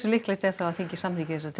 líklegt er að þingið samþykki þessar